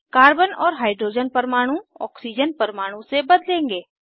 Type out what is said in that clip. carbon और hydrogen परमाणु oxygen परमाणु से बदलेंगे